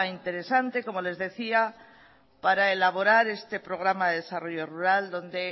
interesante para elaborar este programa de desarrollo rural donde